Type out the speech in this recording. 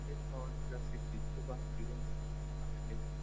test power tiller safety cover prevent accident